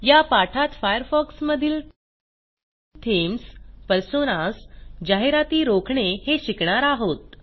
या पाठात फायरफॉक्समधील थीम्स पर्सोनास जाहिराती रोखणे हे शिकणार आहोत